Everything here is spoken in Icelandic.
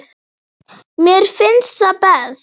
Mér finnst það best.